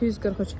643.